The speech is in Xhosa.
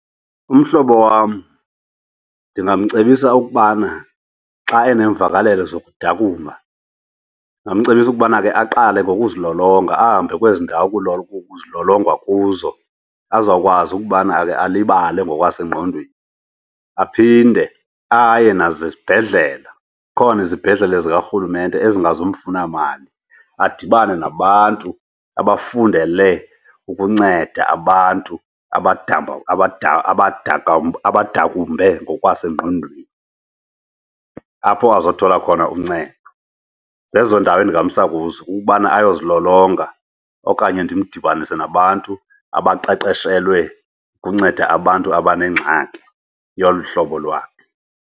Umhlobo wam ndingamcebisa ukubana xa enemvakalelo zokudakumba, ndingamcebisa ukubana ke aqale ngokuzilolonga ahambe kwezi ndawo kuzilolongwa kuzo, azawukwazi ukubana ake alibale ngokwasengqondweni. Aphinde aye nasezibhedlela. Zikhona izibhedlele zikarhulumente ezingazumfuna mali adibane nabantu abafundele ukunceda abantu abadakumbe ngokwasengqondweni, apho azothola khona uncedo. Zezo ndawo endingamsa kuzo, ukubana ayozilolonga okanye ndimdibanise nabantu abaqeqeshelwe ukunceda abantu abanengxaki yolu hlobo lwakhe,